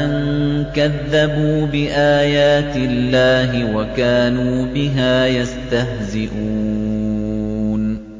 أَن كَذَّبُوا بِآيَاتِ اللَّهِ وَكَانُوا بِهَا يَسْتَهْزِئُونَ